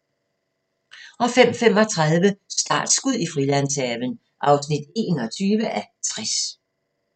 05:35: Startskud i Frilandshaven (21:60)